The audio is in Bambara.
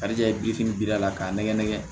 Karidɛfinin biri a la k'a nɛgɛ nɛgɛ